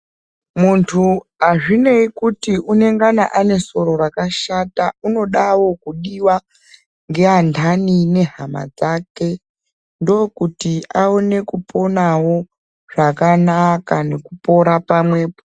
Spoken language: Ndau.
Muntu azvinei nekuti anengana aine soro rakashata unodawo kudiwa nehama dzake ndokuti awone kuponawo zvakanaka nekukasira pamwepo.